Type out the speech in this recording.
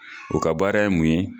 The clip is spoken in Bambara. O ka baara ye mun ye.